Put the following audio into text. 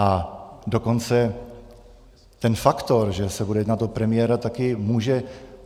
A dokonce ten faktor, že se bude jednat o premiéra, taky může...